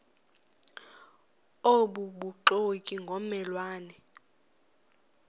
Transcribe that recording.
obubuxoki ngomme lwane